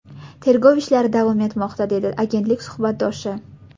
Tergov ishlari davom etmoqda”, dedi agentlik suhbatdoshi.